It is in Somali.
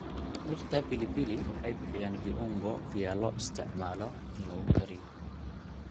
Dhirta pilipili waxay bixiyaan viungo vya loo isticmaalo in lagu kariyo.